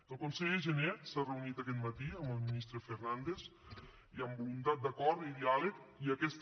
el conseller jané s’ha reunit aquest matí amb el ministre fernández i amb voluntat d’acord i diàleg i aquesta